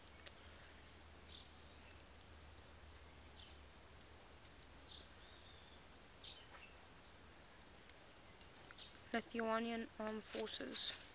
lithuanian armed forces